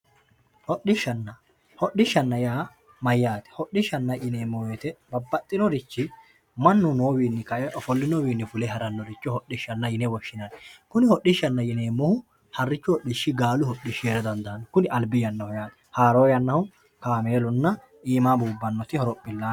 hodhishshanna hodhishshanna yaa mayaate hodhishshanna yineemo woyiite babbaxinorichi mannu noowinni fule ofolinowiini ka"e karannoricho hodhishshanna yine woshshinanni kuni hodhishshanna yineemohu harrichu hodhishshi gaalu hodhishshi heera dandaanno kuni albi yannaho yaate haroo yannahu kaamelunna imaa bubbannoti horophilaane.